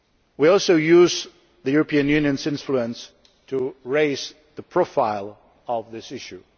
We are also using the European Union's influence to raise the profile of this issue.